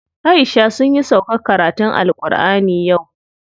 Aisha sunyi sauƙar karatun AlƘurʼani yau.